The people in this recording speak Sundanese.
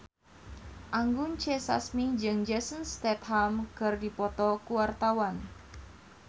Anggun C. Sasmi jeung Jason Statham keur dipoto ku wartawan